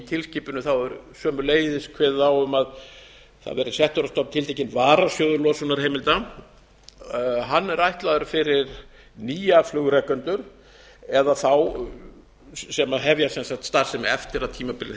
tilskipun er sömuleiðis kveðið á um að það verði settur á stofn tiltekinn varasjóður losunarheimilda hann er ætlaður fyrir nýja flugrekendur eða þá sem hefja sem sagt starfsemi eftir að tímabilið